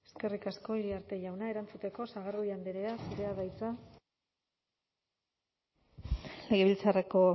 eskerrik asko iriarte jauna erantzuteko sagardui andrea zurea da hitza legebiltzarreko